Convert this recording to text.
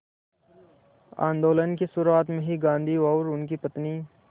आंदोलन की शुरुआत में ही गांधी और उनकी पत्नी